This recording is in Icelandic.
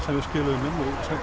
við skiluðum inn